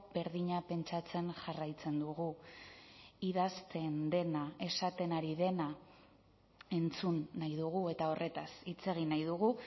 berdina pentsatzen jarraitzen dugu idazten dena esaten ari dena entzun nahi dugu eta horretaz hitz egin nahi dugu